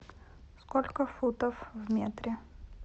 сколько футов в метре